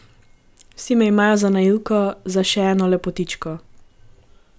Vsi me imajo za naivko, za še eno lepotičko.